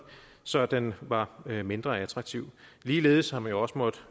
så den var mindre attraktiv ligeledes har man jo også måttet